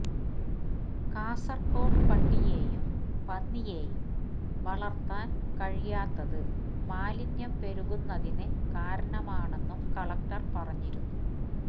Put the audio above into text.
കാസർഗോഡ് പട്ടിയെയും പന്നിയെയും വളർത്താൻ കഴിയാത്തത് മാലിന്യം പെരുകുന്നതിന് കാരണമാണെന്നും കലക്ടർ പറഞ്ഞിരുന്നു